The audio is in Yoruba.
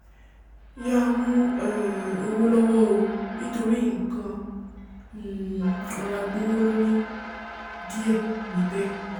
yàá mú um owo lọ́wọ́ o nítorí nkan um rọra gbówó lórí díẹ̀ níbẹ̀